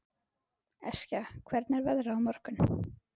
Eskja, hvernig er veðrið á morgun?